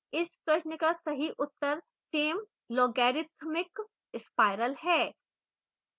इस प्रश्न का सही उत्तर same logarithmic spiral है